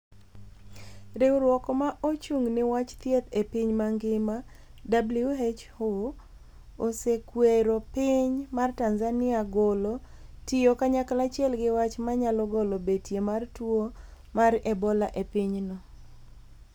Riwruok ma ochung ni wach thieth e piny mangima (WHO) osekuero piny mar Tanzania golo. tiyo kanyachiel gi wach ma nyalo golo betie mar tuwo mar Ebola e pinyno